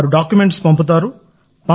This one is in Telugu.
వారు డాక్యుమెంట్స్ పంపుతారు